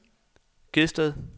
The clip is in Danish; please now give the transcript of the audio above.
Gedsted